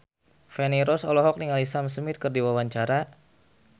Feni Rose olohok ningali Sam Smith keur diwawancara